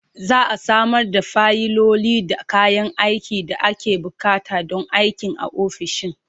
Za a samar da fayiloli da kayan aikin da ake buƙata don aikin a ofishin.